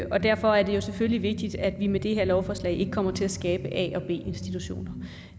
og derfor er det selvfølgelig vigtigt at vi med det her lovforslag ikke kommer til at skabe a og b institutioner